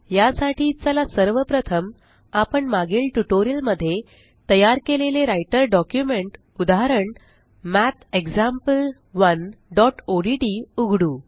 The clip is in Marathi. या साठी चला सर्व प्रथम आपण मागील ट्यूटोरियल मध्ये तयार केलेले राइटर डॉक्युमेंट उदाहरण mathexample1ओडीटी उघडू